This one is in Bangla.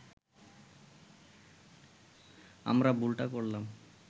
আমরা ভুলটা করলাম